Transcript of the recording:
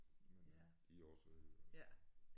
Men øh de er også søde